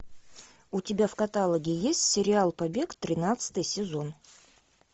у тебя в каталоге есть сериал побег тринадцатый сезон